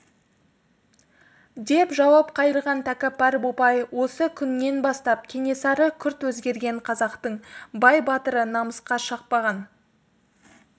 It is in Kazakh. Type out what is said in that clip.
деп жауап қайырған тәкәппар бопай осы күннен бастап кенесары күрт өзгерген қазақтың қай батыры намысқа шаппаған